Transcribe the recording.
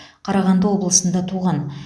қарағанды облысында туған